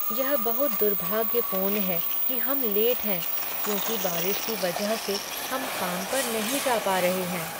यह बहुत दुर्भाग्यपूर्ण है कि हम लेट हैं क्योंकि बारिश की वजह से हम काम पर नहीं जा पा रहे हैं।